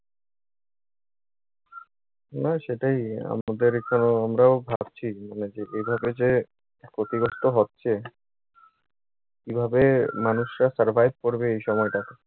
না সেটাই। আমাদের এখানেও, আমরাও ভাবছি মানে, যে এভাবে যে ক্ষতিগ্রস্থ হচ্ছে কীভাবে মানুষরা survive করবে এই সময়টাতে?